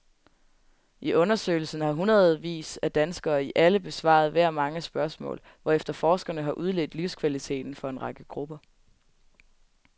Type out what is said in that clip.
I undersøgelsen har hundredevis af danskere i alle aldre besvaret hver mange spørgsmål, hvorefter forskerne har udledt livskvaliteten for en række grupper.